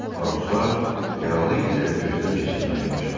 Fransua yaralı itləri gözdən keçirməyə başladı.